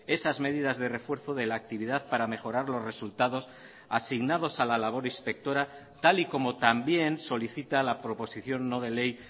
esas medidas de refuerzo de la actividad para mejorar los resultados asignados a la labor inspectora tal y como también solicita la proposición no de ley